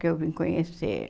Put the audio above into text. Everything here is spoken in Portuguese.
Que eu vim conhecer